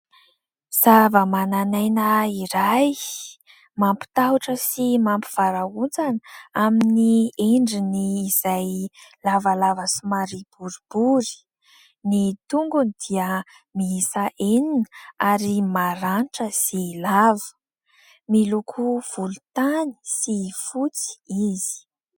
Zava-manan'aina iray mampitahotra sy mampivarahontsana amin'ny endriny izay lavalava somary boribory. Ny tongony dia miisa enina ary maranitra sy lava. Miloko volontany sy fotsy izy.